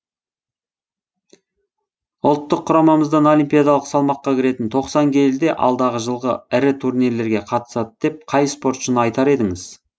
ұлттық құрамамыздан олимпиадалық салмаққа кіретін тоқсан келіде алдағы жылғы ірі турнирлерге қатысады деп қай спортшыны айтар едің